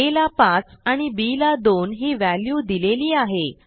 आ ला 5 आणि बी ला 2 ही व्हॅल्यू दिलेली आहे